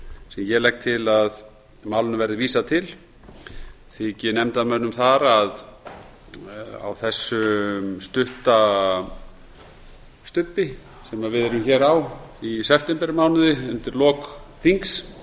sem ég legg til að málinu verði vísað til þyki mönnum það á þessum stubbi sem við erum hér á í septembermánuði undir lok þings